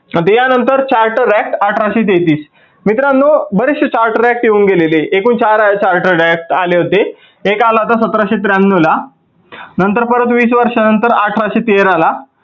मग त्या नंतर charter act अठराशे तेहत्तीस, मित्रांनो बरेचशे charter act येऊन गेलेले. एकूण चार charter act आले होते. एक आला होता सतराशे त्र्यान्नौ ला नंतर परत वीस वर्षानंतर अठराशे तेरा ला